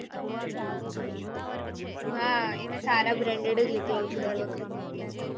ના એ હું સારા બ્રાંડ જ લેતું હતું ડર વખતે